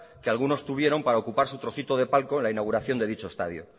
que algunos tuvieron para ocupar su trocito de palco en la inauguración de dicho estadio